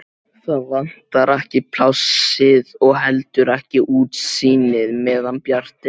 Það vantar ekki plássið og ekki heldur útsýnið-meðan bjart er.